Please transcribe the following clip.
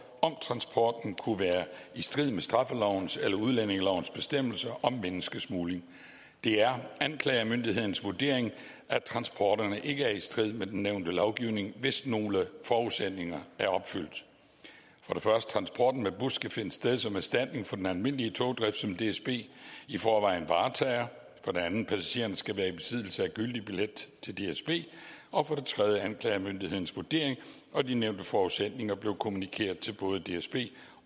om transporten kunne være i strid med straffelovens eller udlændingelovens bestemmelser om menneskesmugling det er anklagemyndighedens vurdering at transporterne ikke er i strid med den nævnte lovgivning hvis nogle forudsætninger er opfyldt transporten med bus skal finde sted som erstatning for den almindelige togdrift som dsb i forvejen varetager passagererne skal være i besiddelse af gyldig billet til dsb anklagemyndighedens vurdering og de nævnte forudsætninger blev kommunikeret til både dsb